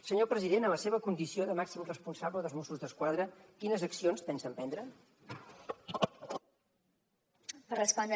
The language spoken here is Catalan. senyor president en la seva condició de màxim responsable dels mossos d’esquadra quines accions pensa emprendre